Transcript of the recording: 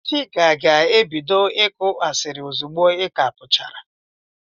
Chika ga-ebido ịkụ asiri ozigbo i ka puchara.